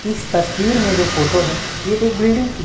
इस तस्वीर में जो फोटो है ये एक बिल्डिंग की--